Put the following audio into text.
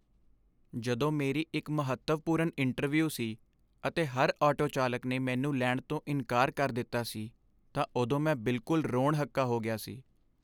ਜਦੋਂ ਮੇਰੀ ਇੱਕ ਮਹੱਤਵਪੂਰਨ ਇੰਟਰਵਿਊ ਸੀ ਅਤੇ ਹਰ ਆਟੋ ਚਾਲਕ ਨੇ ਮੈਨੂੰ ਲੈਣ ਤੋਂ ਇਨਕਾਰ ਕਰ ਦਿੱਤਾ ਸੀ ਤਾਂ ਉਦੋਂ ਮੈਂ ਬਿਲਕੁਲ ਰੋਣ ਹੱਕਾ ਹੋ ਗਿਆ ਸੀ।